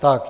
Tak.